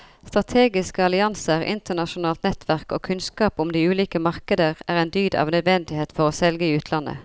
Strategiske allianser, internasjonalt nettverk og kunnskap om de ulike markeder er en dyd av nødvendighet for å selge i utlandet.